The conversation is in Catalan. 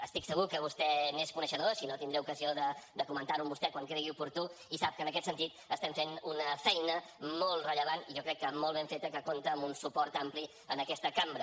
estic segur que vostè n’és coneixedor si no tindré ocasió de comentar ho amb vostè quan ho cregui oportú i sap que en aquest sentit estem fent una feina molt rellevant i jo crec que molt ben feta que compta amb un suport ampli en aquesta cambra